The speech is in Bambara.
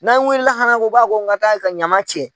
N'a wulila hali an ko k'a ka taa ɲaman cɛ.